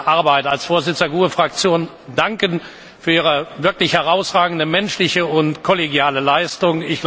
Arbeit als Vorsitzender der GUE Fraktion, danken für Ihre wirklich herausragende menschliche und kollegiale Leistung.